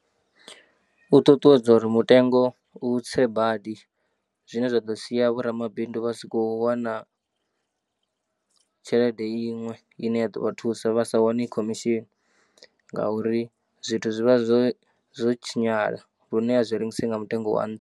U ṱuṱuwedza uri mutengo u tse badi zwine zwa ḓo sia vhoramabindu vha si khou wana tshelede iṅwe ine ya ḓo vha thusa vha sa wane khemeshini ngauri zwithu zwi vha zwo zwo tshinyala lune a zwi rengisei nga mutengo wa nṱha.